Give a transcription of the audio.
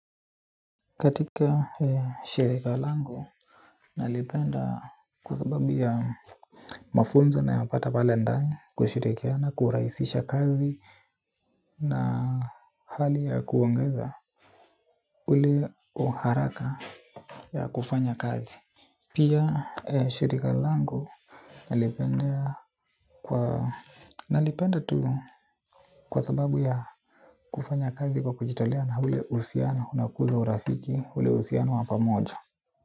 Katika shirika langu nalipenda kwa sababu ya mafunzo nayapata pale ndani kushirikiana kurahisisha kazi na hali ya kuongeza ule uharaka ya kufanya kazi. Pia shirika langu nalipenda tu kwa sababu ya kufanya kazi kwa kujitolea na ule uhusiano unakuza urafiki ule uhusiano wa pamojo.